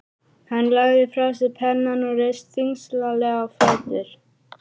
Hann lagði frá sér pennann og reis þyngslalega á fætur.